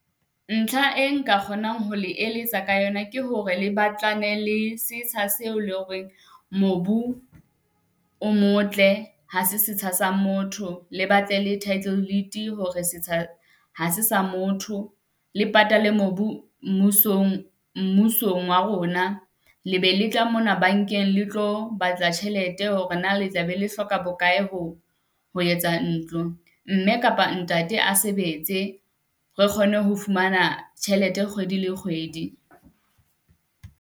Ntlha e nka kgonang ho le eletsa ka yona ke hore le batlane le setsha seo loreng mobu o motle ha se setsha sa motho. Le batle le title deed hore setsha ha se sa motho le patale mobu, mmusong mmusong wa rona. Le be le tla mona bankeng le tlo batla tjhelete hore na le tla be le hloka bokae ho ho etsa ntlo. Mme kapa ntate a sebetse, re kgone ho fumana tjhelete kgwedi le kgwedi.